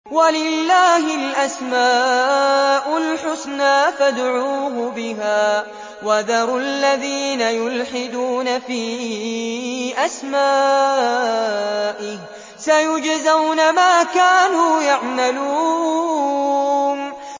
وَلِلَّهِ الْأَسْمَاءُ الْحُسْنَىٰ فَادْعُوهُ بِهَا ۖ وَذَرُوا الَّذِينَ يُلْحِدُونَ فِي أَسْمَائِهِ ۚ سَيُجْزَوْنَ مَا كَانُوا يَعْمَلُونَ